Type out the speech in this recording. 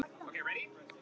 Er ég nóg!